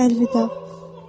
Əlvida.